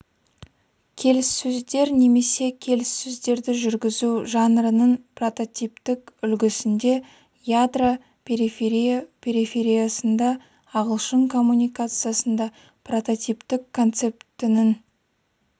келіссөздер немесе келіссөздерді жүргізу жанрының прототиптік үлгісінде ядро периферия перифериясында ағылшын коммуникациясында прототиптік концептінің